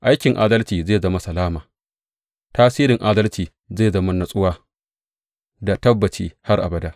Aikin adalci zai zama salama; tasirin adalci zai zama natsuwa da tabbaci har abada.